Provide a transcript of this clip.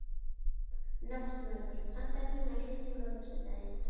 Náttmörður, pantaðu tíma í klippingu á föstudaginn.